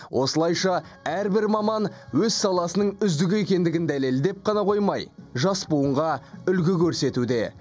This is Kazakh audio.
осылайша әрбір маман өз саласының үздігі екендігін дәлелдеп қана қоймай жас буынға үлгі көрсетуде